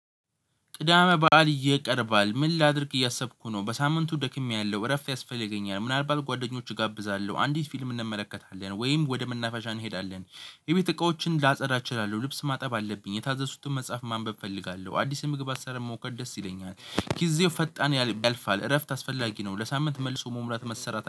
ቅዳሜ በዓል እየቀረባል ምን ላድርግ እያሰብኩ ነው በሳምንቱ ደክሜያለሁ እረፍት ያስፈልገኛል ምናልባት ጓደኞች እጋብዛለሁ አንዲት ፊልም እንመለከታለን ወይም ወደ መናፈሻ እንሄዳለን። የቤት እቃዎችን ላጸዳ እችላለሁ ልብስ ማጠብ አለብኝ የታዘዝኩትን መጽሐፍ ማንበብ እፈልጋለሁ አዲስ ምግብ አሰራ መሞከር ከደስ ይለኛል። ጊዜው ፈጣን ያልፋል እረፍት አስፈላጊ ነው። ለሳምንት መልሶ መሙላት መሰራት